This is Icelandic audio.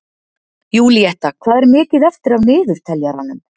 Júlíetta, hvað er mikið eftir af niðurteljaranum?